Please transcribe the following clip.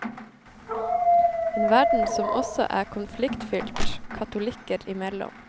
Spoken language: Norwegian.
En verden som også er konfliktfylt katolikker imellom.